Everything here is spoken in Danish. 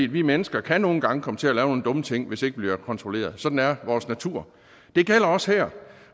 vi mennesker kan nogle gange komme til at lave nogle dumme ting hvis ikke vi bliver kontrolleret sådan er vores natur det gælder også her